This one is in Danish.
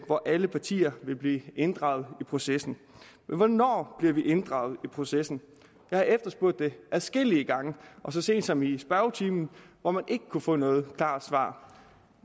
hvor alle partier ville blive inddraget i processen men hvornår bliver vi inddraget i processen jeg har efterspurgt det adskillige gange så sent som i spørgetimen hvor man ikke kunne få noget klart svar